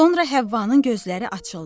Sonra Həvvanın gözləri açıldı.